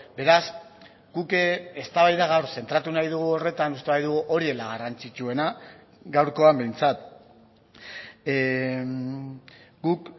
beraz guk eztabaida gaur zentratu nahi dugu horretan uste baitugu hori dela garrantzitsuena gaurkoan behintzat guk